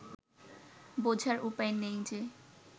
বোঝার উপায় নেই যে